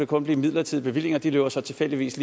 kun blive midlertidige bevillinger det løber så tilfældigvis